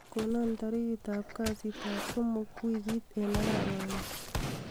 konon tarigit ab kasit ab somok wigit en arawani